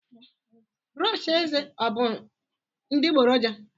brọsh eze ọ bụ adịgboroja?